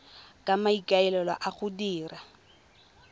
ka maikaelelo a go dira